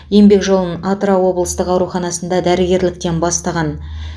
еңбек жолын атырау облыстық ауруханасында дәрігерліктен бастаған